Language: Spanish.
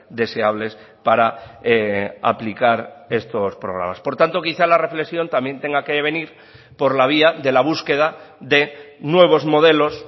deseables para aplicar estos programas por tanto quizá la reflexión también tenga que venir por la vía de la búsqueda de nuevos modelos